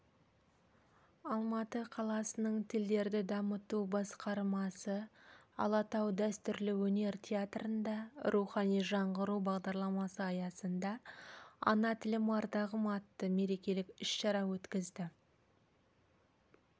алматы қаласының тілдерді дамыту басқармасы алатау дәстүрлі өнер театрында рухани жаңғыру бағдарламасы аясында ана тілім ардағым атты мерекелік іс-шара өткізді